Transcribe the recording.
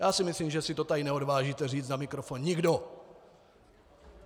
Já si myslím, že se to tady neodvážíte říct na mikrofon nikdo.